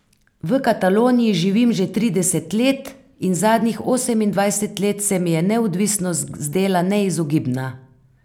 V Kataloniji živim že trideset let in zadnjih osemindvajset let se mi je neodvisnost zdela neizogibna.